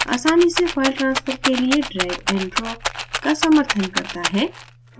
आसानी से file transfer के लिए drag and drop drag और drop का समर्थन करता है